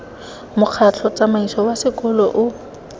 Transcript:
mokgatlho tsamaiso wa sekolo o